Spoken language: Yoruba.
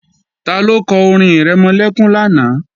Taló kọ orin-ìrẹmọlẹ́kún lánàá?